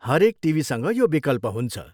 हरेक टिभीसँग यो विकल्प हुन्छ।